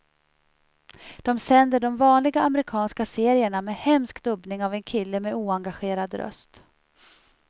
De sänder de vanliga amerikanska serierna med hemsk dubbning av en kille med oengagerad röst.